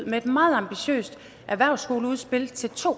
med et meget ambitiøst erhvervsskoleudspil til to